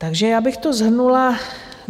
Takže já bych to shrnula.